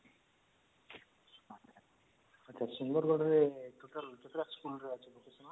ତ sundargarh ରେ କେତେଟା school ରେ